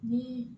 Ni